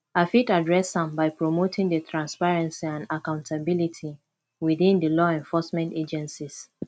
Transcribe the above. i fit adress am by promoting di transparency and accountability within di law enforcement agencies